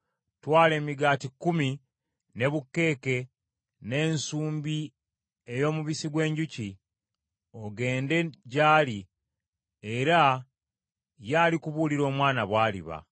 Twala emigaati kkumi, ne bukeeke, n’ensumbi ey’omubisi gw’enjuki, ogende gy’ali era ye alikubuulira omwana bw’aliba.”